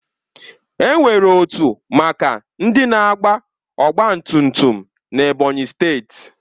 Enwere otu maka ndị na-agba ọgbatumtum n'Ebonyi steeti